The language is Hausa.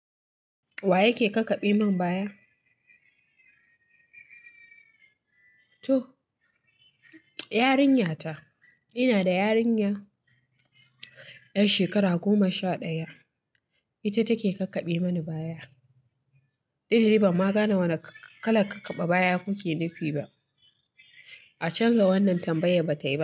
Wa yake kakkabe min baya? To yarinyata. Ina da yarinya yar shekara goma sha daya, ita take kakkabe mani baya. Eh! Ban ma gane wana kalar kakkaba baya kuke nufi ba. A canza wannan tambayan batai ba.